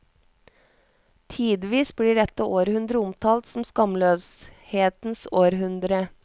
Tidvis blir dette århundre omtalt som skamløshetens århundre.